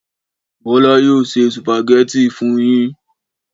Bọ́lá yóò se sùpàgẹ́tì fún yín.